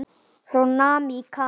frá námi í Kanada.